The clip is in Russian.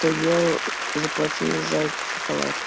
то ел заплатили за эти шоколад